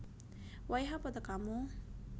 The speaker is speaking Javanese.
Wayah apa tekamu